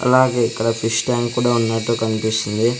అలాగే ఇక్కడ fish tank కూడా ఉన్నట్టు కన్పిస్తుంది.